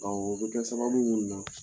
Awɔ o bɛ kɛ sababu ninnu na